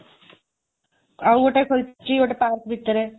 ଆଉ ଗୋଟେ ଖୋଲିଛି ଗୋଟେ ପାର୍କ ଭିତରେ।